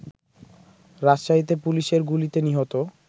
রাজশাহীতে পুলিশের গুলিতে নিহত